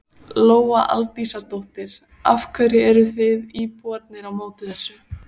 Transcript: Lóa Aldísardóttir: Af hverju eruð þið íbúarnir á móti þessu?